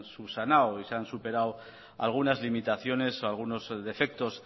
subsanado ya se han superado algunas limitaciones o algunos defectos